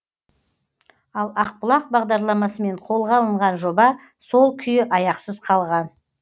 ал ақбұлақ бағдарламасымен қолға алынған жоба сол күйі аяқсыз қалған